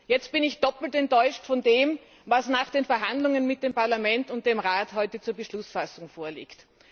Jetzt bin ich doppelt enttäuscht von dem, was nach den Verhandlungen mit dem Parlament und dem Rat heute zur Beschlussfassung vorliegt.